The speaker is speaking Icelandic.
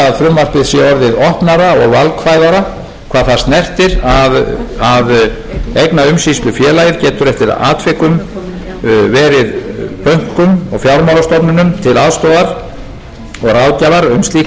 því nú að félagið geti veitt fjármálafyrirtækjum sérhæfða ráðgjöf við þá fjárhagslega endurskipulagningu sem unnið er að á þeim vettvangi það má því segja að frumvarpið sé orðið opnara og valkvæðara hvað það snertir að eignaumsýslufélagið getur eftir atvikum verið bönkum og fjármálastofnunum til aðstoðar og